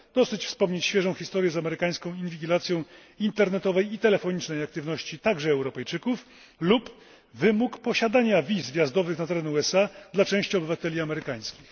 Dosyć wspomnieć świeżą historię z amerykańską inwigilacją internetowej i telefonicznej aktywności także Europejczyków lub wymóg posiadania wiz wjazdowych na teren USA dla części obywateli europejskich.